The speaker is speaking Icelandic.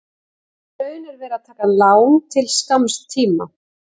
Í raun er verið að taka lán til skamms tíma.